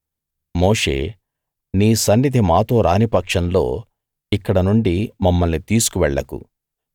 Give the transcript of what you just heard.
మోషే నీ సన్నిధి మాతో రాని పక్షంలో ఇక్కడ నుండి మమ్మల్ని తీసుకు వెళ్ళకు